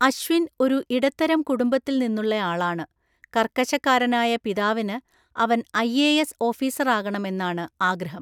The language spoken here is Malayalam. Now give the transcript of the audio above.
അശ്വിൻ ഒരു ഇടത്തരം കുടുംബത്തിൽ നിന്നുള്ളയാളാണ്, കർക്കശക്കാരനായ പിതാവിന് അവൻ ഐഎഎസ് ഓഫീസറാകണം എന്നാണ് ആഗ്രഹം.